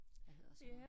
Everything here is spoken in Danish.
Hvad hedder sådan noget